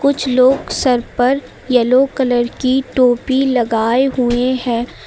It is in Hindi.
कुछ लोग सर पर येलो कलर की टोपी लगाए हुए हैं।